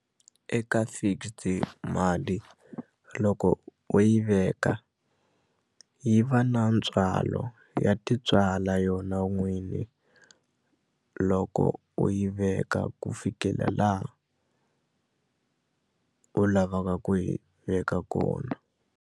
Eka fixed mali loko u yi veka yi va na ntswalo ya tintswala yona n'winyi loko u yi veka ku fikela laha u lavaka ku yi veka kona.